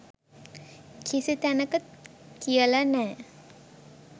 කිසි තැනක කියල නෑ.